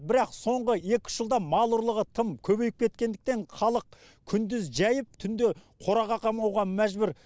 бірақ соңғы екі үш жылда мал ұрлығы тым көбейіп кеткендіктен халық күндіз жайып түнде қораға қамауға мәжбүр